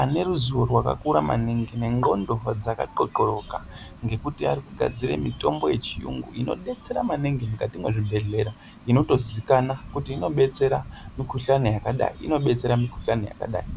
aneruzivo rwakakura maningi ne ndxondo dzaka xoxoroka ngekuti arikugadzire mitombo yechiyungu inobetsera maningi mukati mwezvibhedhlera inotozikana kuti inobetsera mikuhlane yakadai inobetsera mikuhlane yakadai.